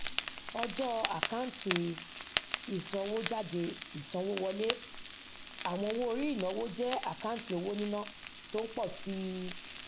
ọjọ àkáǹtì ìsanwójáde ìsanwówọlé àwọn owóorí ìnáwó jẹ àkáǹtì owó níná tó ń pọ sí i